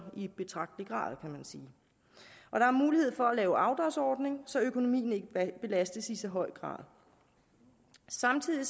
i betragtelig grad kan man sige og der er mulighed for at lave en afdragsordning så økonomien ikke belastes i så høj grad samtidig